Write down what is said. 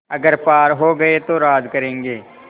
अगर पार हो गये तो राज करेंगे